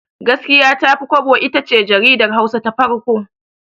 Gaskiya Tafi Kwabo itace jaridar Hausa ta farko.